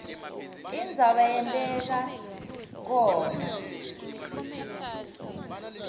indzaba yenteka khona